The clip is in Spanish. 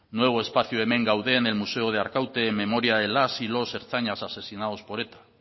nuevo espacio de hemen gaude en el museo de arkaute en memoria de las y los ertzainas asesinados por eta